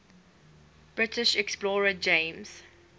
british explorer james